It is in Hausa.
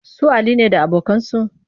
Su Ali ne da abokansu